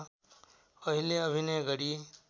अहिले अभिनय गरी